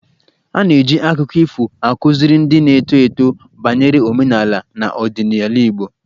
A na-eji akụkọ ifo akụziri ndị na-eto eto banyere omenala na ọdịnala Igbo